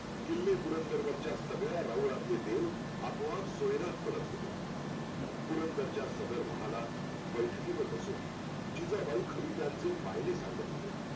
किल्लेपुरंदर वरच्या सगळ्या राऊळातले देव आपोआप सोयरात पडत होते पुरंदरचा सदर महालात बैठकी वर बसून, जिजाबाई खलित्यांचे मायने सांगत होत्या